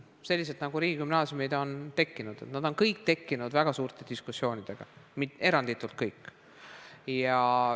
Kõik riigigümnaasiumid on ju tekkinud väga suurte diskussioonidega, eranditult kõik.